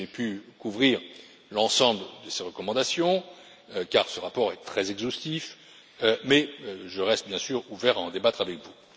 J'ai pu couvrir l'ensemble de ces recommandations, car ce rapport est très exhaustif, mais je reste bien sûr disposé à en débattre avec vous.